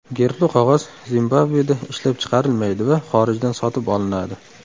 Gerbli qog‘oz Zimbabveda ishlab chiqarilmaydi va xorijdan sotib olinadi.